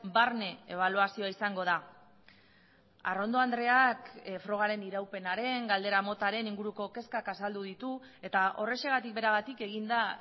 barne ebaluazioa izango da arrondo andreak frogaren iraupenaren galdera motaren inguruko kezkak azaldu ditu eta horrexegatik beragatik egin da